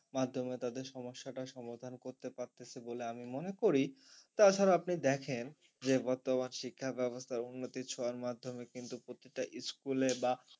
মাধ্যমে তাদের সমস্যাটা সমাধান করতে পারতেছে বলে আমি মনে করি। তাছাড়া আপনি দেখেন যে বর্তমান শিক্ষা ব্যবস্থার উন্নতির ছোঁয়ার মাধ্যমে কিন্তু প্রতিটা school এ বা